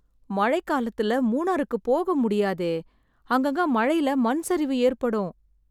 மழை காலத்துல மூணாறுக்குப் போக முடியாதே, அங்கங்க மழைல மண் சரிவு ஏற்படும்.